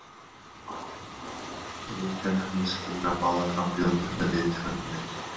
Vikan hugðist kynna báða frambjóðendur með viðtölum og myndum.